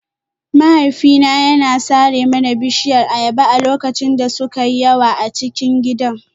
Mahaifina ya sare mana bishiyar ayaba a lokacin da suka yi yawa a cikin gidan